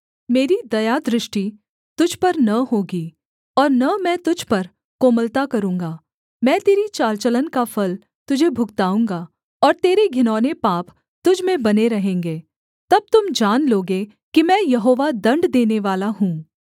मेरी दयादृष्टि तुझ पर न होगी और न मैं तुझ पर कोमलता करूँगा मैं तेरी चाल चलन का फल तुझे भुगताऊँगा और तेरे घिनौने पाप तुझ में बने रहेंगे तब तुम जान लोगे कि मैं यहोवा दण्ड देनेवाला हूँ